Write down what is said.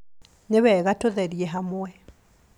Nĩwega tũtherie hamwe